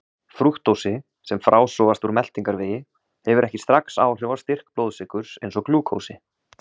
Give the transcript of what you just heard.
Frúktósi, sem frásogast úr meltingarvegi, hefur ekki strax áhrif á styrk blóðsykurs eins og glúkósi.